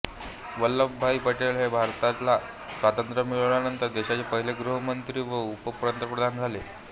वल्लभभाई पटेल हे भारताला स्वातंत्र्य मिळाल्यानंतर देशाचे पहिले गृहमंत्री व उपपंतप्रधान झाले